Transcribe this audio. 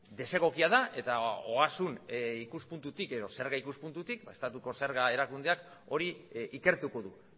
desegokia da eta ogasun ikuspuntutik edo zerga ikuspuntutik estatuko zerga erakundeak hori ikertuko du